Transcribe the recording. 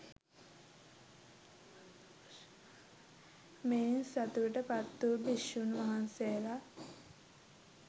මෙයින් සතුටට පත් වූ භික්‍ෂූන් වහන්සේලා